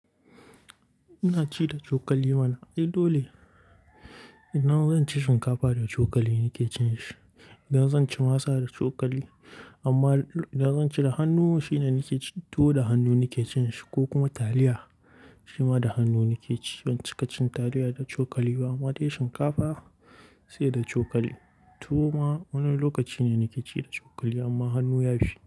Ina ci da cokali mana. Ai dole? Idan zan ci shinkafa da cokali nike cinshi, idan zan ci masa da cokali. Amma idan zan ci da hannu shine nike ci, toh da hannu nike cinshi ko kuma taliya shima da hannu nike ci. Ban cika cin taliya da cokali ba, ma dai shinkafa sai da cokali. Tuwo ma wani lokaci ne nike ci da cokali amma hannu ya fi.